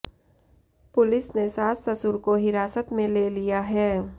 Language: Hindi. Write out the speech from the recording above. पुलिस ने सास ससुर को हिरासत में ले लिया है